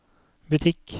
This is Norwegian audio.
butikk